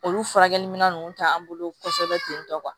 Olu furakɛli minɛn ninnu tɛ an bolo kosɛbɛ ten tɔ